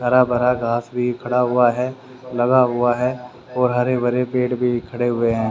हरा भरा घास भी खड़ा हुआ है। लगा हुआ है और हरे भरे पेड़ भी खड़े हुए हैं।